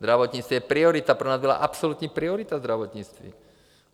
Zdravotnictví je priorita, pro nás byla absolutní priorita zdravotnictví.